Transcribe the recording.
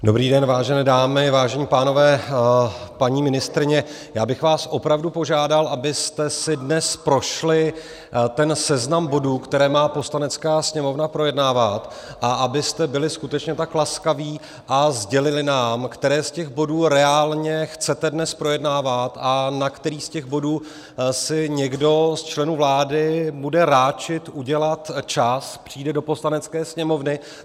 Dobrý den, vážené dámy, vážení pánové, paní ministryně, já bych vás opravdu požádal, abyste si dnes prošli ten seznam bodů, které má Poslanecká sněmovna projednávat, a abyste byli skutečně tak laskaví a sdělili nám, které z těch bodů reálně chcete dnes projednávat a na který z těch bodů si někdo z členů vlády bude ráčit udělat čas, přijde do Poslanecké sněmovny.